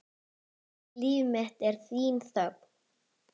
Líf mitt er þín þögn.